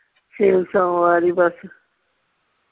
Sale ਸੋਮਵਾਰ ਈ ਬਸ।